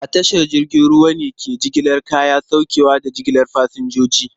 A tashar jiragen ruwa ne ke jigilar kaya, saukewa, da jigilar fasinjoji.